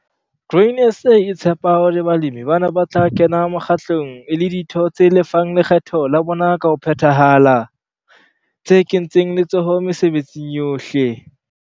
Grain SA e tshepa hore balemi bana ba tla kena mokgatlong e le ditho tse lefang lekgetho la bona ka ho phethahala, tse kentseng letsoho mesebetsing yohle.